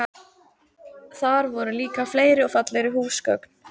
Þar voru líka fleiri og fallegri húsgögn.